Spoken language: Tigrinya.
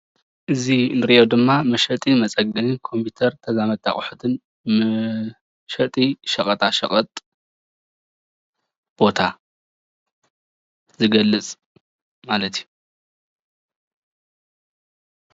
እዚ እንሪኦ ድማ መሸጥን መፀገንን ኮምፒዩተርን ተዛመድቲ ኣቑሕትን መሸጢ ሸቀጣ ሸቀጥ ቦታ ዝገልፅ ማለት እዩ፡፡